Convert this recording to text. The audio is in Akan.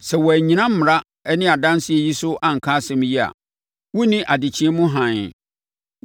Sɛ wɔannyina mmara ne adanseɛ yi so anka asɛm yi a, wonni adekyeɛ mu hann.